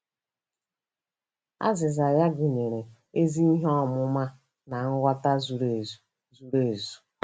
Azịza ya gụnyere “ezi ihe ọmụma na nghọta zuru ezu.” zuru ezu.”